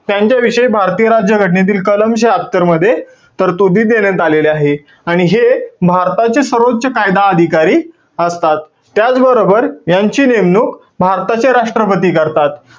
त्यांच्याविषयी भारतीय राज्य घटनेतील कलम शह्यात्तर मध्ये तरतुदी देण्यात आलेल्या आहेत. आणि हे भारताचे सर्वोच्च कायदा अधिकारी असतात. त्याचबरोबर यांची नेमणुक भारताचे राष्ट्रपती करतात.